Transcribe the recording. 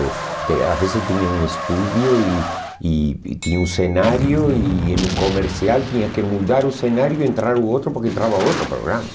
Eh Às vezes tinha um estúdio e e e tinha um cenário e no comercial tinha que mudar o cenário e entrar o outro porque entrava outro programa.